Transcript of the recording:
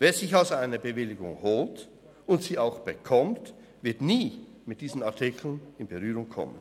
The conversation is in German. Wer sich also eine Bewilligung holt und sie auch bekommt, wird nie mit diesen Artikeln in Berührung kommen.